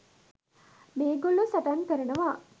මේගොල්ලෝ සටන් කරනවා.